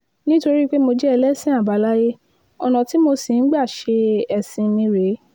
nítorí pé mo jẹ́ ẹlẹ́sìn àbáláyé ọ̀nà tí mo sì ń gbà ṣe ẹ̀sìn mi rèé